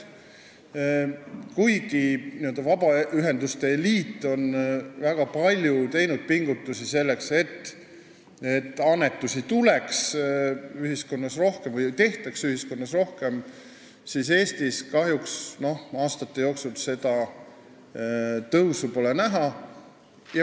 Kuigi vabaühenduste liit on teinud väga palju pingutusi selleks, et annetusi tehtaks ühiskonnas rohkem, pole Eestis kahjuks aastate jooksul tõusu näha olnud.